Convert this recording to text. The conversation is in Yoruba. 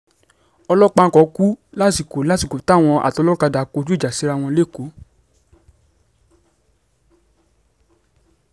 ọlọ́pàá kan kú lásìkò lásìkò táwọn atọlọ́kadà kọjú ìjà síra wọn lẹ́kọ̀ọ́